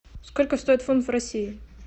сколько стоит фунт в россии